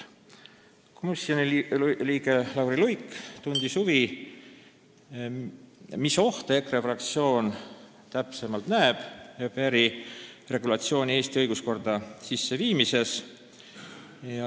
Komisjoni liige Lauri Luik tundis huvi, mis ohte täpsemalt näeb EKRE fraktsioon au pair'i regulatsiooni Eesti õiguskorda sisseviimises.